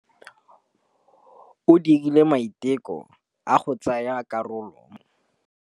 O dirile maitekô a go tsaya karolo mo dipolotiking.